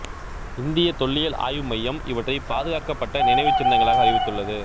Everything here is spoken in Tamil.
இந்திய தொல்லியல் ஆய்வு மையம் இவற்றை பாதுகாக்கப்பட்ட நினைவுச்சின்னங்களாக அறிவித்துள்ளது